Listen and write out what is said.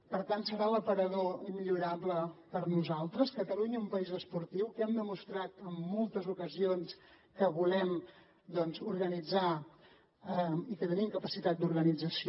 per tant serà l’aparador immillorable per a nosaltres catalunya un país esportiu que hem demostrat en moltes ocasions que volem organitzar i que tenim capacitat d’organització